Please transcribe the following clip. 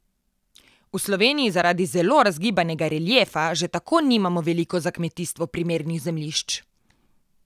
V Sloveniji zaradi zelo razgibanega reliefa že tako nimamo veliko za kmetijstvo primernih zemljišč.